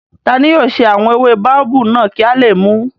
Tani yóò ṣe àwọn ewé báóbábù náà kí a lè mùú?